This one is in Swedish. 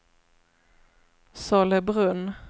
Sollebrunn